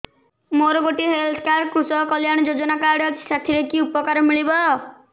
ମୋର ଗୋଟିଏ health card କୃଷକ କଲ୍ୟାଣ ଯୋଜନା କାର୍ଡ ଅଛି ସାଥିରେ କି ଉପକାର ମିଳିବ